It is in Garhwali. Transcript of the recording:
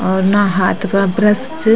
और ना हाथ पा ब्रश च।